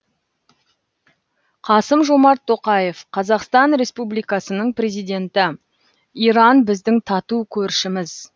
қасым жомарт тоқаев қазақстан республикасының президенті иран біздің тату көршіміз